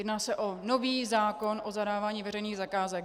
Jedná se o nový zákon o zadávání veřejných zakázek.